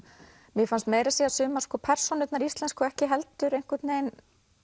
mér fannst meira að segja sumar persónurnar íslensku ekki heldur einhvern veginn